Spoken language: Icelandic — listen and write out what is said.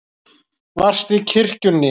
Varstu í kirkjunni?